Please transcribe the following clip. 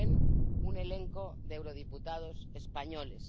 Como ven, un elenco de eurodiputados españoles.